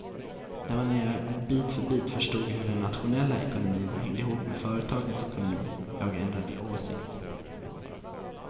Det var när jag bit för bit förstod hur den nationella ekonomin hänger ihop med företagens ekonomi som jag ändrade åsikt.